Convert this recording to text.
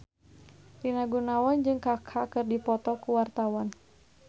Rina Gunawan jeung Kaka keur dipoto ku wartawan